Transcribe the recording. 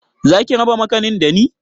Zaki raba makanin dani?